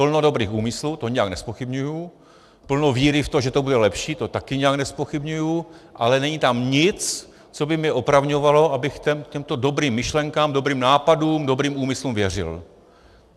Plno dobrých úmyslů, to nijak nezpochybňuji, plno víry v to, že to bude lepší, to také nijak nezpochybňuji, ale není tam nic, co by mě opravňovalo, abych těmto dobrým myšlenkám, dobrým nápadům, dobrým úmyslům věřil.